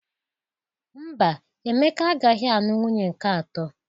Mba, Emeka agaghị alụ nwunye nke atọ.